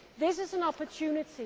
This is an opportunity.